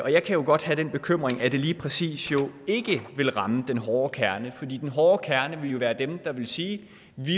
jeg kan jo godt have den bekymring at det lige præcis ikke vil ramme den hårde kerne for den hårde kerne vil jo være dem der vil sige